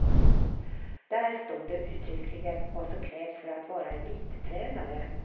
Där står det uttryckligen vad som krävs för att vara elittränare.